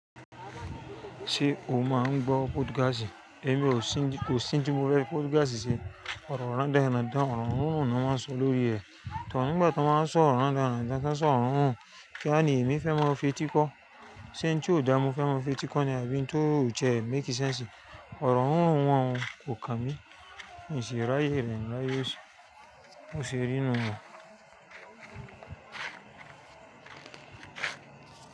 Ṣé o máa ń gbọ́ Podcast? Èmi kò sí tí mo fe fí Podcast ṣe, ọ̀rọ̀ randánrandán, ọ̀rọ̀ rírun náà máa ń sọ lórí ẹ̀. To nígbà tí wọ́n wáa ń sọ ọ̀rọ̀ rándanrandán, tán sọrọ̀ rírun, kíwa ní èmi fẹ́ mọ fetí kọ́? Ṣé nǹkan tó dára mo fẹ́ mọ fetí kọ́ ni àbí nǹkan tó ò ṣe é make sense. Ọ̀rọ̀ rírun wọn kò kàn mí, mì ṣi ráyè rẹ̀ mí ráyè óṣì. Ó ṣe rí inú wọn.